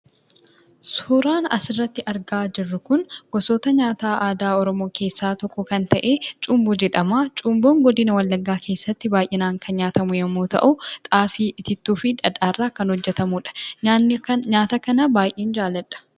Suuraan asirratti argaa jirru kun gosoota nyaataa aadaa Oromoo keessaa tokko kan ta'e 'Cumboo' jedhama. Cumboon godina wallaggaa keessatti baay'inaan kan nyaatamu yommuu ta'u, xaafii, itittuu fi dhadhaa irraa kan hojjetamudha. Nyaata kana baay'een jaalladha.